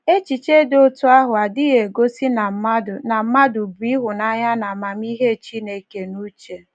Echiche dị otú ahụ adịghị egosi na mmadụ na mmadụ bu ịhụnanya na amamihe Chineke n’uche.